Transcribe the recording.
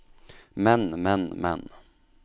men men men